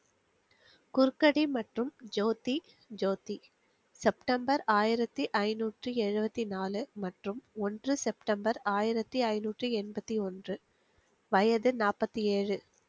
குருக்கடி மற்றும் ஜோதி ஜோதி செப்டம்பர் ஆயிரத்தி ஐநூற்றி எழுவத்தி நாலு மற்றும் ஒன்று செப்டம்பர் ஆயிரத்தி ஐநூற்றி என்பத்தி ஒன்று வயது நாப்பத்தி ஏழு